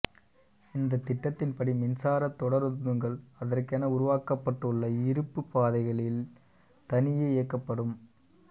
இந்த திட்டத்தின்படி மின்சாரத் தொடருந்துகள் அதற்கென உருவாக்கப்பட்டுள்ள இருப்புப் பாதைகளில் தனியே இயக்கபடும்